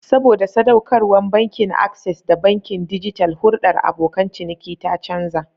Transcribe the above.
Saboda sadaukarwar Bankin Access ga bankin dijital, hulɗar abokan ciniki ta canza.